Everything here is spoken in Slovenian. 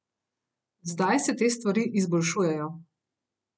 Zdaj se te stvari izboljšujejo.